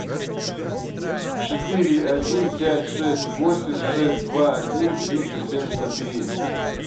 четыре один пять шесть восемь шесть два один триста семьдесят три